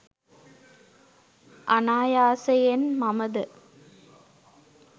අනායාසයෙන් මම ද